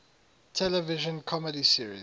television comedy series